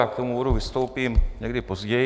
Já k tomu bodu vystoupím někdy později.